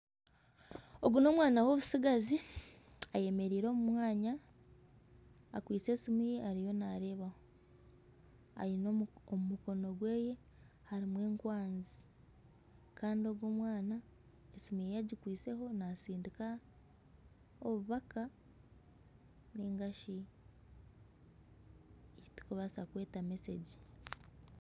Ogu ni omwaana w'omutsigazi ayemereire omu mwanya akwiitse esimu ye ariyo nareebaho. Omu mukono gweye harimu enkwanzi Kandi ogu omwaana esimu ye agikwitseho natsindika obubaka ningashi ekiturikubaasa kweta mesegi.